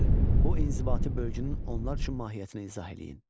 Bu inzibati bölgünün onlar üçün mahiyyətini izah eləyin.